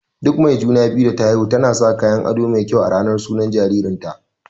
Duk mai juna-biyu da ta haihu tana sa kayan aɗo mai kyau a ranar sunan jaririn ta.